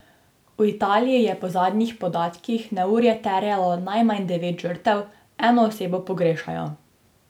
V Italiji je po zadnjih podatkih neurje terjalo najmanj devet žrtev, eno osebo pogrešajo.